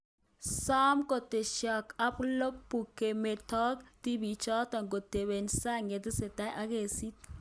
Some ketesyosek ab lagook kemeto tibiichoto kotebe sang yatesetai ak kesiit